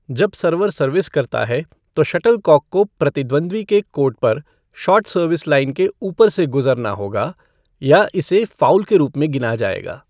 जब server service करता है, तो शटलकॉक को प्रतिद्वंद्वी के कोर्ट पर शॉर्ट सर्विस लाइन के ऊपर से गुजरना होगा या इस फ़ाउल के रूप में गिना जाएगा।